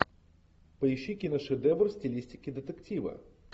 поищи киношедевр в стилистике детектива